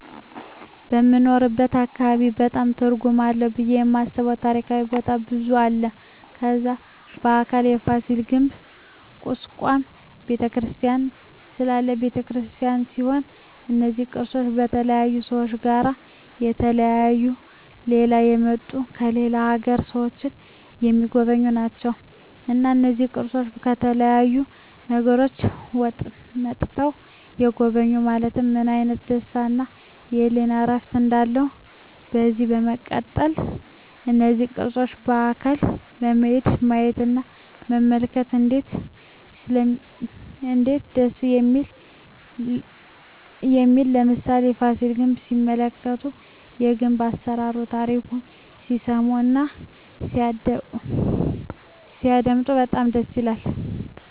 በምንኖርበት አካባቢ በጣም ትርጉም አለው ብየ የማስበው ታሪካዊ ቦታ ብዙ አለ ከዛ በአካል ፋሲል ግንብ ኩስካም በተክርስቲያን ስላሴ በተክርስቲያን ሲሆኑ እነዚ ቅርሶች በተለያዩ ሰዎች እና በተለያዩ ከሌላ የመጡ የሌላ አገር ሰዎች ሚጎበኙአቸው ናቸው እና እነዚህን ቅርሶች ከተለያዩ አገሮች መጥተዉ የጎበኙ ማየት ምን አይነት ደስታ እና የህሊና እርፍ እንዳለው ከዚህ በመቀጠል እነዚህን ቅርሶች በአካል በመሄድ ማየት እና መመልከት እነዴት ደስ እንደሚል ለምሳሌ ፋሲል ግንብ ሲመለከቱ የግንብ አሰራሩን ታሪኩን ሲሰሙ እና ሲያደመጡ በጣም ደስ ይላል